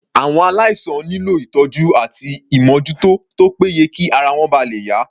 Àwọn aláìsàn nílò ìtọ́jú àti ìmójútó tó pé ye kí ara wọn ba lè yá.